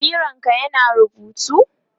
bironka ya na rubutu?